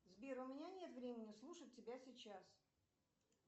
сбер у меня нет времени слушать тебя сейчас